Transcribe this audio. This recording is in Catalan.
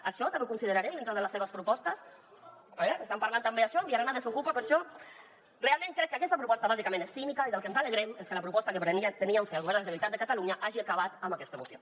això també ho considerarem dintre de les seves propostes estan parlant també d’això enviaran desokupa per a això realment crec que aquesta proposta bàsicament és cínica i del que ens alegrem és que la proposta que pretenien fer al govern de la generalitat de catalunya hagi acabat amb aquesta moció